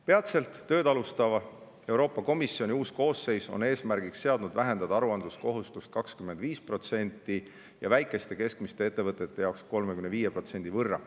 Peatselt tööd alustav Euroopa Komisjoni uus koosseis on eesmärgiks seadnud vähendada aruandluskohustust 25% võrra ning väikeste ja keskmiste ettevõtete jaoks 35% võrra.